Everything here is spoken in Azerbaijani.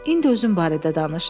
İndi özün barədə danış.